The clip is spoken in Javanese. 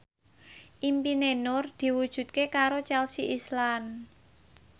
impine Nur diwujudke karo Chelsea Islan